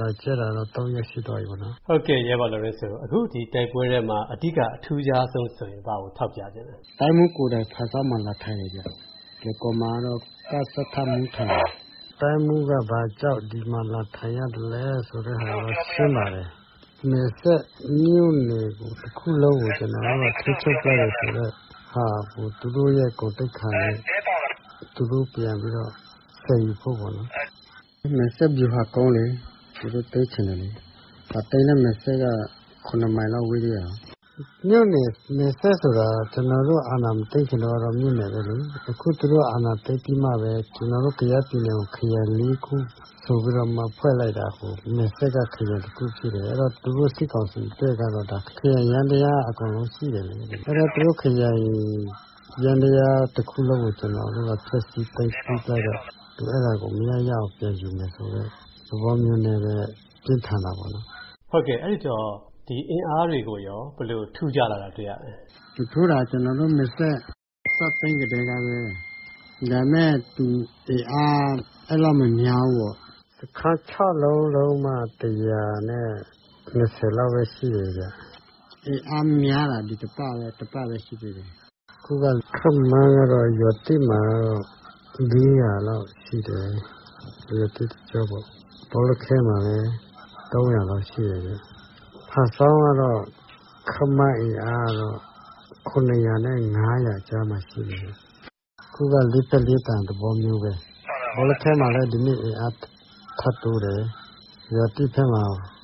လာကြဲတာတော့ ၃ ရက်ရှိသွားပြီ။ ဟုတ်ကဲ့ အခု ဒီတိုက်ပွဲမှာ အဓိက အထူးခြားဆုံး ဆိုရင် ဘာကိုထောက်ပြချင်လဲ။ တိုင်းမှူးကိုယ်တိုင် ဖားဆောင်းမှာ လာထိုင်တယ်ဗျာ။ လွိုင်ကော်မှာတော့ ကစထမှူး ထိုင်တယ်။ တိုင်းမှူးက ဒီမှာ ဘာကြောင့် လာထိုင်ရသလဲဆိုတာတော့ ရှင်းပါတယ်။ နယ်စပ်မြို့နယ် တခုလုံးကို ကျနော်တို့က ထိန်းချုပ်ထားတယ်ဆိုတော့ သူတို့ ဂုဏ်သိက္ခာကို ဆယ်ယူဖို့ပေါ့နော်။ ပြီးတော့ မယ်စဲ့ စစ်ဗျူဟာကုန်းကို သူတို့ သိမ်းချင်တယ်လေ။ သိမ်းလည်း မယ်စဲ့က ၇ မိုင်လောက် ေ၀းတာကိုး။ မယ်စဲ့ဆိုတာ ကျနော်တို့ အာဏာမသိမ်းခင်တုန်းကတော့ မြို့နယ်ပဲလေ။ အခု သူတို့အာဏာသိမ်းပြီးမှပဲ ကျနော်တို့ ကယားပြည်နယ်ကို ခရိုင် ခုဆိုပြီးတော့မှ ဖွဲ့လိုက်တာ။ မယ်စဲ့က ခရိုင်တခုဖြစ်နေတယ်။ အဲ့ဒီတော့ သူတို့ စစ်ကောင်စီ ဖက်ကတော့ ဒါ ခရိုင်ယန္တရား အကုန်ရှိတယ်လေ။ အဲဒီတော့ သူတို့ ခရိုင်ယန္တရားတခုလုံးကို ကျနော်တို့ ဖျက်ဆီး သိမ်းပိုက်လိုက်တော့ အဲဒါကို သူတို့ မရ ရအောင်ပြန်ယူမယ့်သဘောမျိုးနဲ့ပဲ တင်းခံနေတာပေါ့လေ။ ဟုတ်ကဲ့ အဲဒီတော့ အင်အားတွေရော ဘယ်လို ထူးခြားလာတာ တွေ့ရလဲ။ သူ စစ်ကြောင်းထိုးတာ ကျနော်တို့ ပြန်သိမ်းလိုက်ကတည်းကပဲ။ ဒါပေမယ့် အင်အားကတော့ အဲလောက် မများဘူးရော်။ စခန်း ၆ ခုလုံးမှ လောက်ပဲ ရှိလိမ့်မယ်။ အင်အား များလာတာ ဒီတပတ်လောက်ပဲ ရှိသေးတယ်။ ခုက ရွာသစ်မှာတော့ လောက်ရှိမယ်။ ဘော်လခဲမှာလည်း လောက်ရှိမယ်။ ဖားဆောင်းကတော့ ခန့်မှန်းအင်အား ကြားမှာ ရှိမယ်။ ခုက လေးဖက်လေးတန် ဝိုင်းထားတဲ့သဘောပဲ။ ဘော်လခဲမှာလည်း ဒီနေ့ အင်အား ထပ်တိုးတယ်။ ရွာသစ်ထဲမှာ